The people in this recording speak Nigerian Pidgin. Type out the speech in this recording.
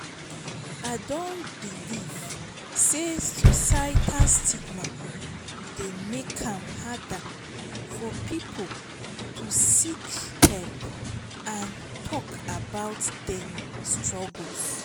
i dey believe say societal stigma dey make am harder for people to seek help and talk about dem struggles.